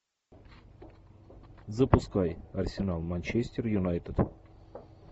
запускай арсенал манчестер юнайтед